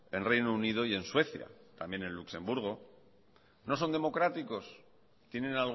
en reino unido y en suecia también en luxemburgo no son democráticos tienen